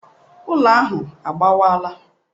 Ụlọ ahụ agbawaala.